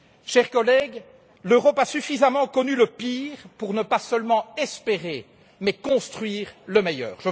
Chers collègues, l'Europe a suffisamment connu le pire pour ne pas seulement espérer, mais construire le meilleur.